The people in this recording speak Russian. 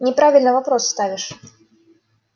неправильно вопрос ставишь